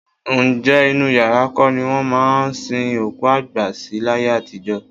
Ǹjẹ́ inú yàrá kọ́ ni wọ́n máa ń sin òkú àgbà sí láyé àtijọ́?